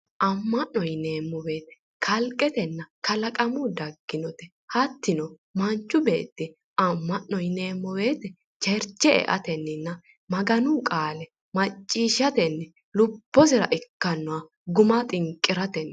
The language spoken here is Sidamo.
Amma'no yineemmo woyiite kalqetenna kalaqamuyi dagginote hattino manchu beetti cherche eatenninna lubbosira ikkaannoha guma xinqiratenni